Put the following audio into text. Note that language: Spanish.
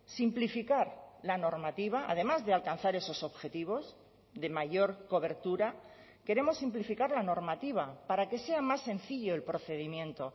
simplificar la normativa además de alcanzar esos objetivos de mayor cobertura queremos simplificar la normativa para que sea más sencillo el procedimiento